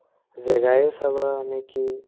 জেগায়ে চাবা নে কি